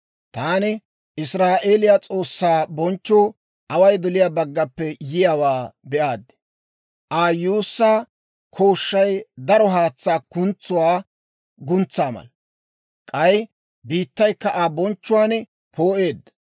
Taani Israa'eeliyaa S'oossaa bonchchuu away doliyaa baggappe yiyaawaa be'aad. Aa yuussaa kooshshay daro haatsaa kuntsuwaa guntsaa mala; k'ay biittaykka Aa bonchchuwaan poo'eedda.